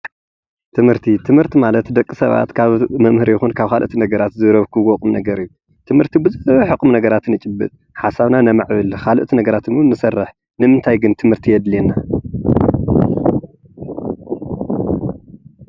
ትምርቲ ትምርቲ ማለት ደቂ ሰባት ካብ መምህር ይኩን ካብ ካልኦት ሰባት ዝረክብዎ ቁም ነገር እዩ ትምርቲ ብዙሕ ነገራት እዉን የጭብጥ ሓሳብና ነማዕብል ብዙሕ ነገራት እዉን ንሰርሕ። ንምንታይ ግን ትምርቲ የድልየና?